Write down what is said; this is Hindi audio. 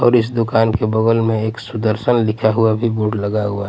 और इस दुकान के बगल में एक सुदर्शन लिखा हुआ भी बोर्ड लगा हुआ है.